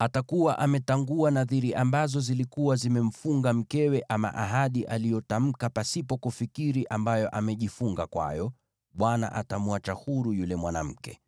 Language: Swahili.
atakuwa ametangua nadhiri ambazo zilikuwa zimemfunga mkewe, ama ahadi aliyotamka pasipo kufikiri ambayo amejifunga kwayo, naye Bwana atamweka huru yule mwanamke.